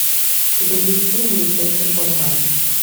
у тебя есть фильм величайший шоумен